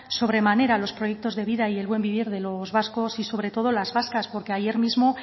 sobremanera los proyectos de vida y el buen vivir de los vascos y sobre todo las vascas porque ayer mismo